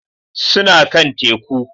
Suna kan Teku